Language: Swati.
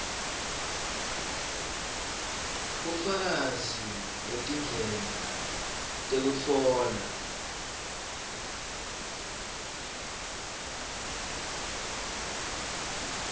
bufakazi betindlela tekutfola